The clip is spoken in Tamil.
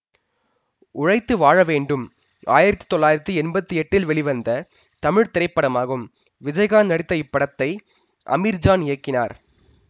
உழைத்து வாழ வேண்டும் ஆயிரத்தி தொள்ளாயிரத்தி எம்பத்தி எட்டில் வெளிவந்த தமிழ் திரைப்படமாகும் விஜயகாந்த் நடித்த இப்படத்தை அமீர்ஜான் இயக்கினார்